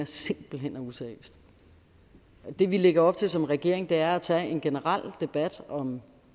simpelt hen er useriøst det vi lægger op til som regering er at tage en generel debat om